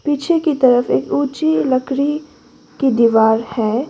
पीछे की तरफ एक ऊंची लकड़ी की दीवार है।